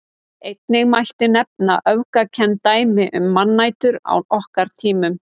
Einnig mætti nefna öfgakennd dæmi um mannætur á okkar tímum.